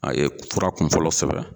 A ye fura kun fɔlɔ sɛbɛn